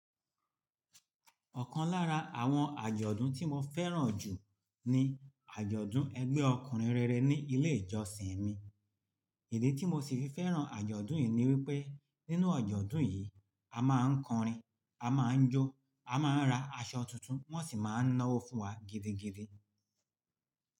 Ọ̀kan lára àwọn àjọ̀dún tí mo fẹ́ràn jù ni àjọ̀dún ẹgbẹ́ ọkùnrin rere ní ilé ìjọsìn mi. Ìdí tí mo sì fi fẹ́ràn àjọ̀dún yìí ni wípé nínú àjọ̀dún yìí, a máa ń kọrin, a máa ń jó, a máa ń ra aṣọ tuntun, wón sì máa ń ná ọ́wo fún wa gidigidi.